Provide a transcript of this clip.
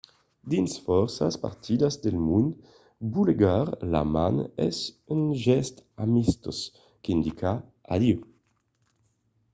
dins fòrça partidas del mond bolegar la man es un gèst amistós qu'indica adieu.